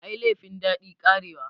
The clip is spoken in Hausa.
Ai laifin daɗi, karewa.